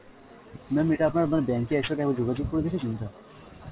mam ইটা আপন~ আপনার bank এর সথে একবার যোগাযোগ করে দেখেছেন এটা